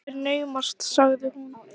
Það er naumast, sagði hún.